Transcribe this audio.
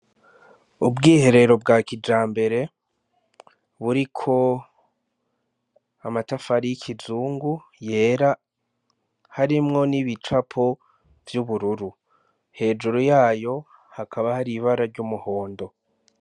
Ubwiherero bwa kijambere buriko amatafari y'ikizungu yera, harimwo n'ibicapo vy'ubururu. Hejuru yayo hakaba hari ibara risa ry'umuhondo.